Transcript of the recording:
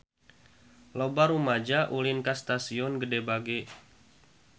Loba rumaja ulin ka Stasiun Gede Bage